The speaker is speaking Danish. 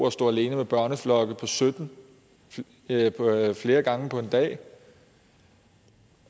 at stå alene med børneflokke på sytten flere gange på en dag